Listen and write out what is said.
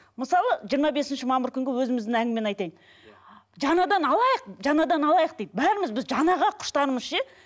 мысалы жиырма бесінші мамыр күнгі өзіміздің әңгімені айтайын жаңадан алайық жаңадан алайық дейді бәріміз біз жаңаға құштармыз ше